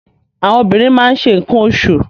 Àwọn obìnrin ma ń se nǹkan oṣù.